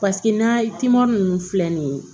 Paseke n'a timinan ninnu filɛ nin ye